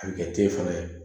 A bɛ kɛ te fana ye